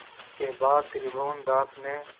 इसके बाद त्रिभुवनदास ने